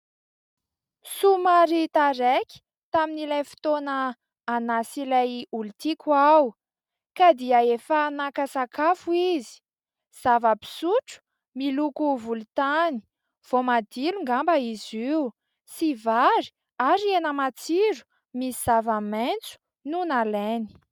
Somary taraiky tamin'ilay fotoana anà sy ilay olon-tiako aho ka dia efa naka sakafo izy. Zava-pisotro miloko volontany voamadilo ngamba izy io sy vary ary hena matsiro misy zava-maitso no nalainy.